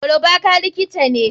Olubaka likita ne.